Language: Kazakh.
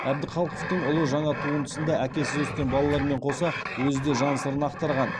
әбдіхалықовтың ұлы жаңа туындысында әкесіз өскен балалармен қоса өзі де жан сырын ақтарған